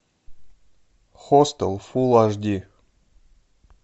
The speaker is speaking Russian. хостел фул аш ди